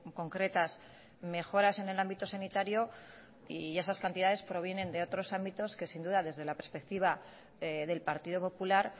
concretas mejoras en el ámbito sanitario y esas cantidades provienen de otros ámbitos que sin duda desde la perspectiva del partido popular